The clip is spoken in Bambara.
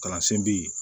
Kalansen bɛ yen